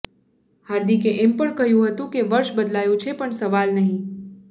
હાર્દિકે એમ પણ કહ્યુ હતું કે વર્ષ બદલાયુ છે પણ સવાલ નહી